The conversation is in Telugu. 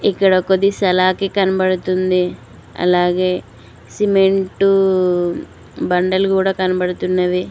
ఇక్కడ ఒకటి సలాకి కనపడతుంది అలాగే సిమెంటూ బండలు గూడ కనబడుతున్నవి.